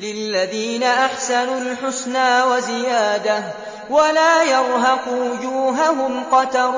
۞ لِّلَّذِينَ أَحْسَنُوا الْحُسْنَىٰ وَزِيَادَةٌ ۖ وَلَا يَرْهَقُ وُجُوهَهُمْ قَتَرٌ